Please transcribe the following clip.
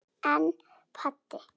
En pabbi?